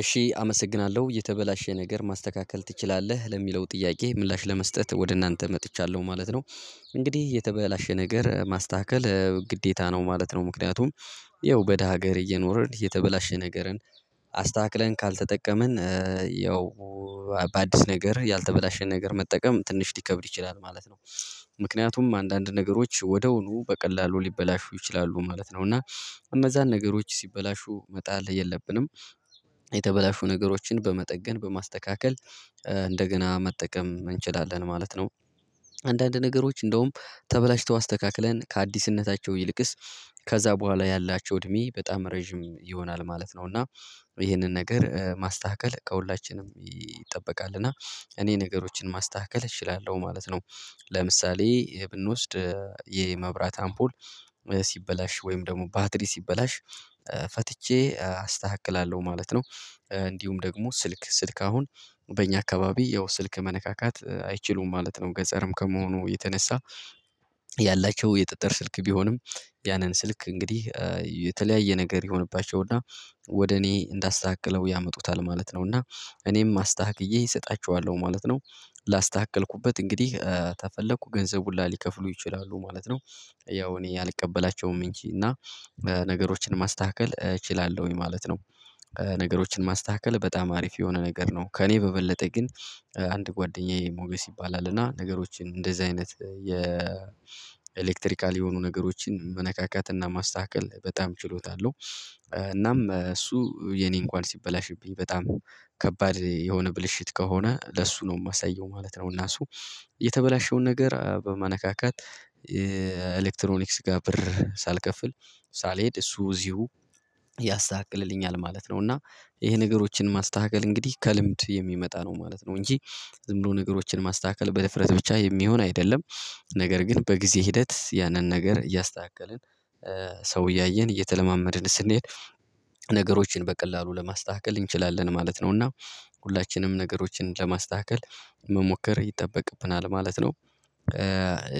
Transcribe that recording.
እሺ አመሰግናለሁ። የተበላሸ ነገር ማስተካከል ትችላለህ? ለሚለው ጥያቄ ምላሽ ለመስጠት ወደናተ መጥቻለሁ ማለት ነው። እንግዲህ የተበላሸ ነገር ማስተካከል እ ግዴታ ነው ማለት ነው። ምክንያቱም ያው በደሃ ሀገር እየኖርን የተበላሸ ነገርን አስተካክለን ካልተጠቀምን እ ያው ባዲስ ነገር ያልተበላሸ ነገር መጠቀም ትንሽ ሊከብድ ይችላል ማለት ነው። ምክንያቱም አንዳንድ ነገሮች ወደውኑ በቀላሉ ሊበላሹ ይችላሉ ማለት ነው። እና እነዛን ነገሮች ሲበላሹ መጣል የለብንም። የተበላሹ ነገሮችን በመጠገን፣ በማስተካከል እንደገና መጠቀም እንችላለን ማለት ነው። አንዳንድ ነገሮች እንደውም ተበላሽተው አስተካክለን ከአዲስነታቸው ይልቅስ ከዛ በኋላ ያላቸው እድሜ በጣም ረጅም ይሆናል ማለት ነው። እና ይሄንን ነገር እ ማስተካከል ከሁላችንም ይጠበቃል። እና እኔ ነገሮችን ማስተካከል እችላለሁ ማለት ነው። ለምሳሌ ብንወስድ እ የመብራት አምፖል ሲበላሽ ወይም ደሞ ባትሪ ሲበላሽ ፈትቼ አስተካክላለሁ ማለት ነው። እንዲሁም ደግሞ ስልክ፣ ስልክ አሁን በእኛ አካባቢ ያው ስልክ መነካካት አይችሉም ማለት ነው። ገጸርም ከመሆኑ የተነሳ ያላቸው የጥጥር ስልክ ቢሆንም፤ ያንን ስልክ እንግዲህ የተለያየ ነገር ይሆንባቸውና ወደ እኔ እንዳስተካክለው ያመጡታል ማለት ነው። እና እኔም አስተካክዬ እሰጣችኋለሁ ማለት ነው። ላስተካከልኩበት እንግዲህ ተፈለኩ ገንዘብ ሁላ ሊከፍሉ ይችላሉ ማለት ነው። ያው እኔ አልቀበላቸውም እንጂ። እና ነገሮችን ማስተካከል እችላለሁኝ ማለት ነው። ነገሮችን ማስተካከል በጣም አሪፍ የሆነ ነገር ነው። ከእኔ በበለጠ ግን አንድ ጓደኛዬ ሞገስ ይባላል። እና ነገሮችን እንደዚህ አይነት የኤሌክትሪካል የሆኑ ነገሮችን መነካካት እና ማስተካከ፣ በጣም ችሎታ አለው። እናም እሱ የኔ እንኳን ሲበላሽብኝ በጣም ከባድ የሆነ ብልሽት ከሆነ ለሱ ነው ማሳየው ማለት ነው። እና እሱ የተበላሸውን ነገር እ በማነካካት እ ኤሌክትሮኒክስጋ ብር ሳልከፍል ሳልሄድ እሱ እዚሁ ያሳክልልኛል ማለት ነው። እና ይሄ ነገሮችን ማስተካከል እንግዲህ ከልምድ የሚመጣ ነው ማለት ነው። እንጂ ዝም ብሎ ነገሮችን ማስተካከል በድፍረት ብቻ የሚሆን አይደለም። ነገር ግን በጊዜ ሂደት ያንን ነገር እያስተካከልን ሰው እያየን እየተለማመድን ስንሄድ ነገሮችን በቀላሉ ለማስተካከል እንችላለን ማለት ነው። እና ሁላችንም ነገሮችን ለማስተካከል መሞከር ይጠበቅብናል ማለት ነው።